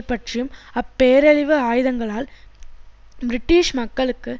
பற்றியும் அப்பேரழிவு ஆயுதங்களால் பிரிட்டிஷ் மக்களுக்கு